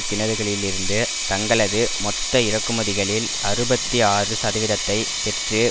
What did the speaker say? கிணறுகளிலிருந்து தங்களது மொத்த இறக்குமதிகளில் அறுபத்தி ஆறு சதவீதத்தை பெற்று